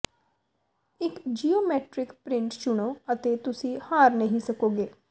ਇੱਕ geometric print ਚੁਣੋ ਅਤੇ ਤੁਸੀਂ ਹਾਰ ਨਹੀਂ ਸਕੋਗੇ